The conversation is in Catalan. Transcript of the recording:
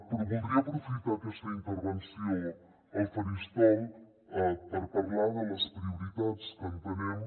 però voldria aprofitar aquesta intervenció al faristol per parlar de les prioritats que entenem